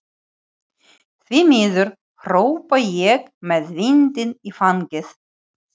Því miður, hrópa ég með vindinn í fangið.